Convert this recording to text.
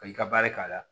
Ka i ka baara k'a la